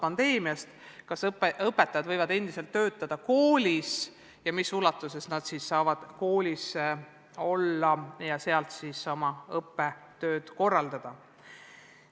Polnud teada, kas õpetajad võivad endiselt koolis töötada ning kui võivad, siis millises ulatuses nad saavad koolis olla ja sealt oma õppetööd korraldada.